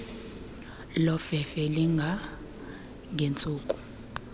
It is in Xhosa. lofefe elinga ngentsuku